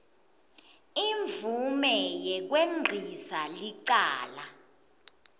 imvume yekwengcisa licala